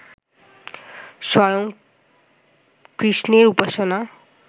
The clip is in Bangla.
স্বয়ং কৃষ্ণের উপাসনা